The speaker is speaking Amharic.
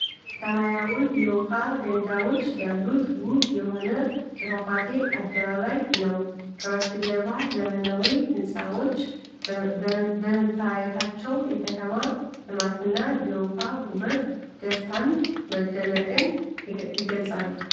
ሰማያዊ የውሃ ገንዳዎች ያሉት ውብ የሆነ የፏፏቴ አደባባይ ነው። ከበስተጀርባ ዘመናዊ ሕንፃዎች በመታየታቸው የከተማ ልማትና የውሃ ውበት ደስታንና መደነቅን የገልጻሉ።